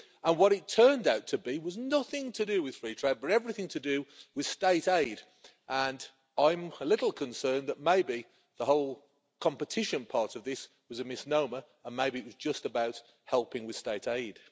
What it turned out to be was nothing to do with free trade but everything to do with state aid, and I'm a little concerned that maybe the whole competition part of this was a misnomer and maybe it was just about helping with state aid.